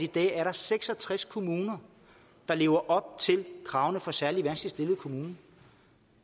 dag er der seks og tres kommuner der lever op til kravene for særlig vanskeligt stillede kommuner